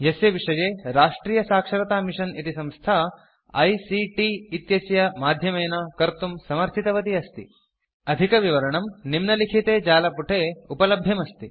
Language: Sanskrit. यस्य विषये राष्ट्रियसाक्षरतामिशन् इति संस्था ICTआइसीटि इत्यस्य माध्यमेन कर्तुं समर्थितवती अस्ति अधिकविवरणं निम्नलिखिते जालपुटे उपलभ्यमस्ति